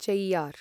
chair